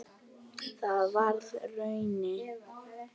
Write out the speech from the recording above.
Það varð raunin.